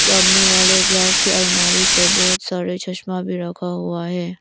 सामने वाले ग्लास के अलमारी पर बहुत सारे चश्मा भी रखा हुआ है।